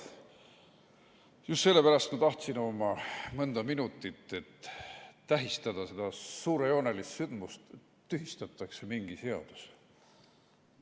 Just sellepärast ma tahtsin oma mõnda minutit, et tähistada seda suurejoonelist sündmust, et tühistatakse mingi seadus.